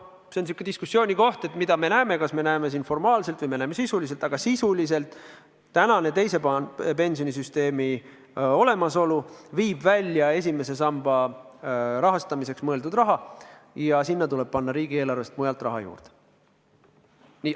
See on diskussioonikoht, mida me näeme – kas me näeme formaalselt või me näeme sisuliselt –, aga sisuliselt tänane teise samba pensionisüsteemi olemasolu viib välja esimese samba rahastamiseks mõeldud raha ja sinna tuleb panna riigieelarvest mujalt raha juurde.